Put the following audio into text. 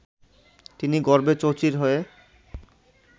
তিনি গর্বে চৌচির হয়ে